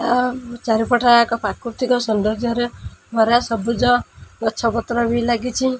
ଚାରିପଟ ଯାକ ପ୍ରାକୃତିକ ସୌନ୍ଦର୍ଯ୍ୟରେ ଭରା ସବୁଜ ଗଛପତ୍ର ବି ଲାଗିଛି।